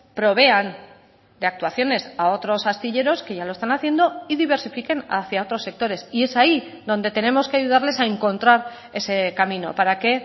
provean de actuaciones a otros astilleros que ya lo están haciendo y diversifiquen hacia otros sectores y es ahí donde tenemos que ayudarles a encontrar ese camino para que